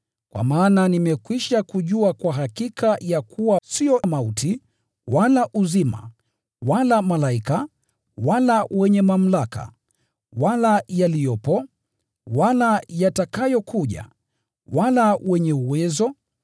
Kwa maana nimekwisha kujua kwa hakika ya kuwa sio mauti, wala uzima, wala malaika, wala wenye mamlaka, wala yaliyopo, wala yatakayokuja, wala wenye uwezo,